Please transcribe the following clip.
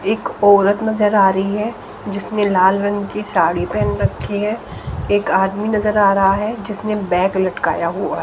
एक औरत नजर आ रही है जिसमें लाल रंग की साड़ी पहन रखी है एक आदमी नजर आ रहा है जिसने बैग लटकाया हुआ--